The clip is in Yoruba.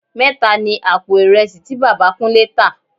Mẹ́ta ni àpò ìrẹsì tí Bàbá Kúnlé tá